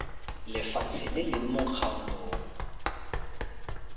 lefatshe le leng mo kgaolong